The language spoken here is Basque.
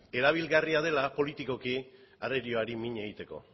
erabilgarria dela politikoki arerioari mina egiteko